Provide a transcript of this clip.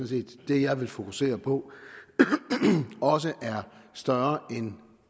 set det jeg vil fokusere på også er større end